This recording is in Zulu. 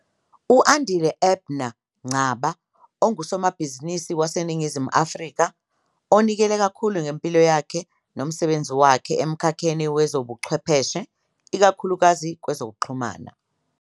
U-Andile Abner Ngcaba ungusomabhizinisi waseNingizimu Afrika onikele kakhulu ngempilo yakhe nomsebenzi wakhe emkhakheni wezobuchwepheshe, ikakhulukazi kwezokuxhumana.